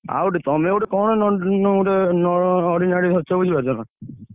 ଆଉ ଗୋଟେ ତମେ ଗୋଟେ କଣ ନ~ ଗୋଟେ ନ~ ordinary ଧରିଛ ବୁଝିପାରୁଛ ନା?